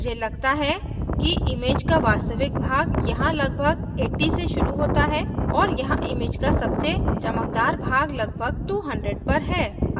मुझे लगता है कि image का वास्तविक भाग यहाँ लगभग 80 से शुरू होता है और यहाँ image का सबसे चमकदार भाग लगभग 200 पर है